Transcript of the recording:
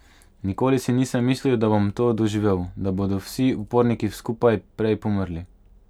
Nikoli si nisem mislil, da bom to doživel, da bodo vsi uporniki skupaj prej pomrli.